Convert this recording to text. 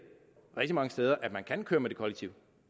rigtig mange steder at man kan køre med det kollektive